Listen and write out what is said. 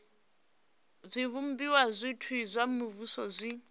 zwivhumbeo zwothe zwa muvhuso zwi